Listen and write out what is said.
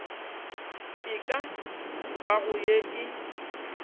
e ka bago ye e